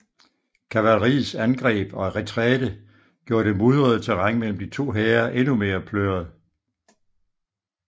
Kavaleriets angreb og retræte gjorde det mudrede terræn mellem de to hære endnu mere pløret